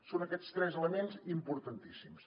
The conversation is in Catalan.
són aquests tres elements importantíssims